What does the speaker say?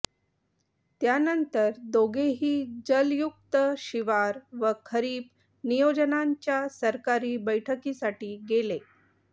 त्यानंतर दोघेही जलयुक्त शिवार व खरीप नियोजनाच्या सरकारी बैठकीसाठी गेले